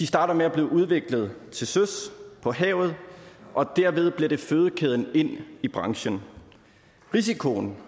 starter med at blive udviklet til søs på havet og derved bliver det fødekæden ind i branchen risikoen